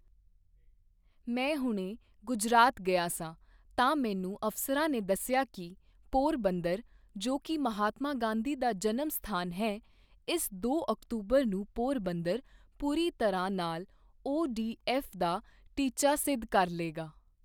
ਮੈਂ ਹੁਣੇ ਗੁਜਰਾਤ ਗਿਆ ਸਾਂ, ਤਾਂ ਮੈਨੂੰ ਅਫ਼ਸਰਾਂ ਨੇ ਦੱਸਿਆ ਕਿ ਪੋਰਬੰਦਰ, ਜੋ ਕਿ ਮਹਾਤਮਾ ਗਾਂਧੀ ਦਾ ਜਨਮ ਸਥਾਨ ਹੈ, ਇਸ ਦੋ ਅਕਤੂਬਰ ਨੂੰ ਪੋਰਬੰਦਰ ਪੂਰੀ ਤਰ੍ਹਾਂ ਨਾਲ ਓ ਡੀ ਐਫ ਦਾ ਟੀਚਾ ਸਿੱਧ ਕਰ ਲਏਗਾ।